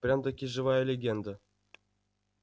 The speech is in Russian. прям-таки живая легенда